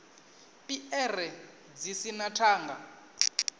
piere dzi si na thanda